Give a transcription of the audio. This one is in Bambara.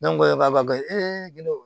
Ne ko e b'a dɔn